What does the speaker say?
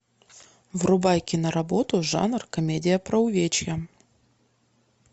врубай киноработу жанр комедия про увечья